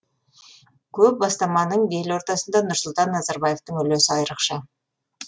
көп бастаманың белортасында нұрсұлтан назарбаевтың үлесі айрықша